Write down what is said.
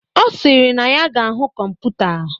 Ọ sịrị na ya ga-ahụ kọmputa.